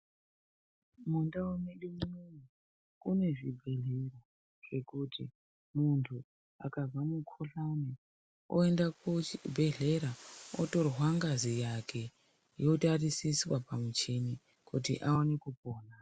Mundau medu mune zvibhehlera zvekuti munhu akanzwa mukuhlani aoenda kuchibhedhlera otorwa ngazi yake ytariswa pamuchini kuti aone kupora.